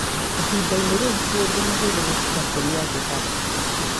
Ihinda-inĩ rĩu, ti ũndũ mũhũthũ gũtiga kũnyua thigara.